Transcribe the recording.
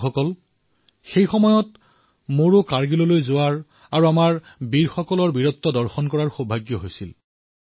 বন্ধুসকল সেই সময়ত মইও কাৰ্গিললৈ গৈ আমাৰ জোৱানসকলৰ বীৰত্ব প্ৰত্যক্ষ কৰাৰ সৌভাগ্য লাভ কৰিছিলো